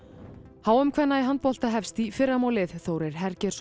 h m kvenna í handbolta hefst í fyrramálið Þórir